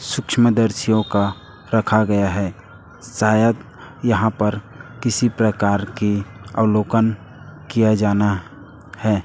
सूक्ष्मदर्शियों का रखा गया है सायद यहां पर किसी प्रकार की अवलोकन किया जाना है।